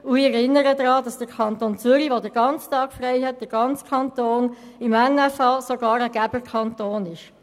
Ich erinnere daran, dass der Kanton Zürich, wo der Erste Mai ganztägig arbeitsfrei ist, im Nationalen Finanzausgleich (NFA) sogar ein Geberkanton ist.